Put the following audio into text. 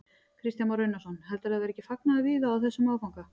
Kristján Már Unnarsson: Heldurðu að það verði ekki fagnaður víða á þessum áfanga?